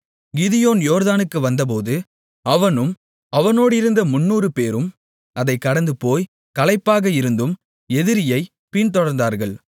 கிதியோன் யோர்தானுக்கு வந்தபோது அவனும் அவனோடிருந்த முந்நூறுபேரும் அதைக் கடந்துபோய் களைப்பாக இருந்தும் எதிரியை பின்தொடர்ந்தார்கள்